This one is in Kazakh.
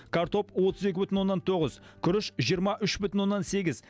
картоп отыз екі бүтін оннан тоғыз күріш жиырма үш бүтін оннан сегіз